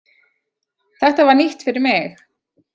Þetta var nýtt fyrir mig.